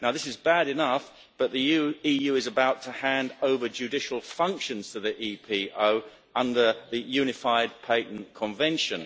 Now this is bad enough, but the EU is about to hand over judicial functions to the EPO under the Unified Patent Convention.